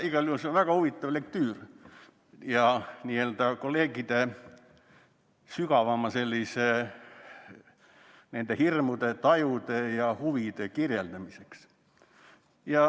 Igal juhul on see väga huvitav lektüür kolleegide sügavamate hirmude, tajude ja huvide kirjeldamiseks.